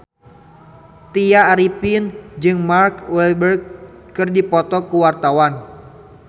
Tya Arifin jeung Mark Walberg keur dipoto ku wartawan